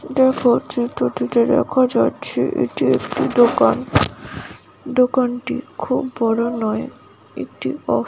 দেখো চিত্র টি তে দেখা যাচ্ছে এটি একটি দোকান দোকান টি খুব বড় নয় একটি অসু--